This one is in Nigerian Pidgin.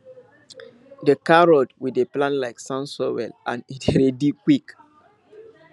the carrot we dey plant like sand soil and e dey ready quick